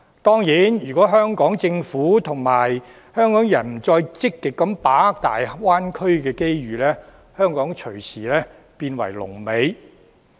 當然，如果香港政府和香港人不再積極把握大灣區的機遇，香港隨時變為龍尾。